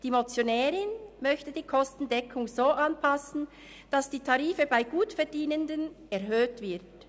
Die Motionärin möchte die Kostendeckung so anpassen, dass die Tarife bei Gutverdienenden erhöht werden.